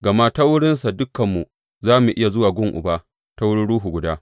Gama ta wurinsa dukanmu za mu iya zuwa gun Uba ta wurin Ruhu guda.